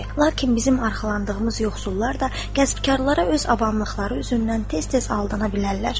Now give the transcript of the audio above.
Lakin bizim arxalandığımız yoxsullar da kəsbkarlara öz avamlıqları üzündən tez-tez aldanıla bilərlər.